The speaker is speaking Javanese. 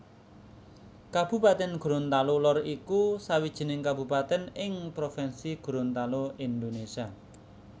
Kabupatèn Gorontalo Lor iku sawijining kabupatèn ing provinsi Gorontalo Indonésia